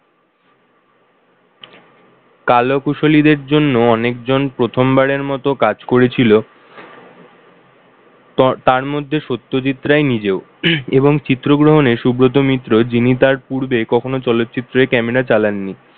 কলাকুশলীদের জন্য অনেকজন প্রথমবারের মতো কাজ করেছিল। তারমধ্যে সত্যজিৎ রায় নিজেও উম এবং চিত্রগ্রহণে সুব্রত মিত্র যিনি তার পূর্বে কখনো চলচ্চিত্রে camera চালান নি।